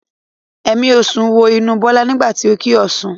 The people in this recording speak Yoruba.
Ẹ̀mí ọ̀ṣun wọ inú Bọ́lá nígbà tí o kí Ọ̀ṣun.